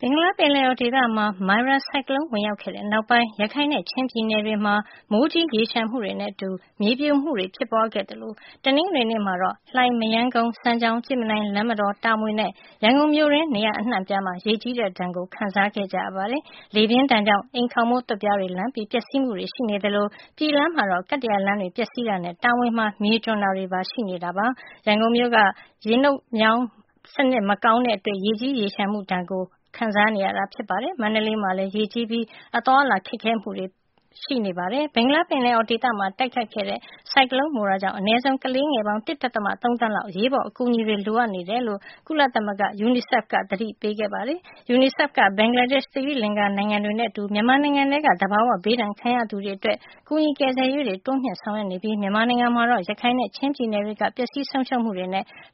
ဘင်္ဂလား ပင်လယ်အော် ဒေသမှာ မိုရာ ဆိုင်ကလုံး ဝင်ရောက်ခဲ့တဲ့နောက်ပိုင်း ရခိုင်နဲ့ ချင်း ပြည်နယ်တွေမှာ မိုးကြီး ရေလျှံမှုတွေ နဲ့ အတူ မြေပြိုမှုတွေ ဖြစ်ပွါးခဲ့ သလို တနင်္ဂနွေနေ့မှာတော့ လှိုင်၊ မရမ်းကုန်း၊ စမ်းချောင်း၊ ကြည့်မြင်တိုင်၊ လမ်းမတော်၊ တာမွေ နဲ့ ရန်ကုန်မြို့တွင်း နေရာအနှံ့ အပြားမှာ ရေကြီးတဲ့ ဒဏ်ကို ခံနေကြရပါတယ်။ လေပြင်းဒဏ်ကြောင့် အိမ်ခေါင်မိုး သွပ်ပြားတွေ လန်ပြီး ပျက်စီးမှုတွေရှိနေသလို ပြည်လမ်းမှာ ကတ္တရာလမ်းတွေ ပျက်စီးတာနဲ့ တာမွေမှာ မြေကျွံတာတွေပါ ရှိနေပါတယ်။ ရန်ကုန်မြို့မှာ စနစ်တကျ အမှိုက်မစွန့်ပစ်တာနဲ့ ရေနှုတ်မြောင်း စနစ်မကောင်းတဲ့အတွက် ပိတ်ဆို့မှုတွေ နဲ့အတူ ရေကြီးရေလျှံမှုတွေ ခံစားကြရတာ ဖြစ်ပါတယ်။ မန္တလေးမှာလည်း ရေကြီးပြီး အသွားအလာတွေ ခက်ခဲမှု ကြုံကြရပါတယ်။ ဘင်္ဂလားပင်လယ်အော်ဒေသမှာ တိုက်ခိုက်ခဲ့တဲ့ ဆိုင်ကလုံး မိုရာ ကြောင့် ဒေသတွင်းမှာ အနည်းဆုံး ကလေးငယ်ပေါင်း ၁.၃ သန်းလောက် အရေးပေါ် အကူအညီတွေ လိုအပ်နေတယ်လို့ ကုလသမဂ္ဂ UNICEF က သတိပေးခဲ့ပါတယ်။ UNICEF က ဘင်္ဂလားဒေ့ရှ်နဲ့ သီရိလင်္ကာ နိုင်ငံတွေနဲ့ အတူ မြန်မာနိုင်ငံထဲက သဘာဝ ဘေးဒဏ်ခံရသူတွေအတွက် ကူညီ ကယ်ဆယ်ရေးတွေ တိုးမြှင့် ဆောင်ရွက်နေပြီး မြန်မာနိုင်ငံမှာတော့ ရခိုင်နဲ့ ချင်းပြည်နယ်တွေက ပျက်စီးဆုံးရှုံးမှုတွေ